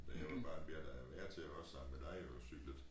Da jeg var barn blev jeg da hver tid også sammen med dig jo cykle til